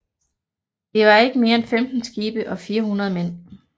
Der var ikke mere end 15 skibe og 400 mænd